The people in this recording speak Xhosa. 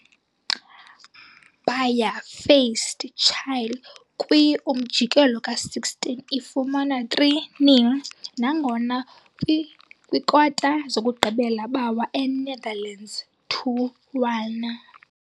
Baya faced Chile kwi-umjikelo ka-16, ifumana 3-0, nangona kwi-kwikota-zokugqibela bawa Enetherlands 2-1.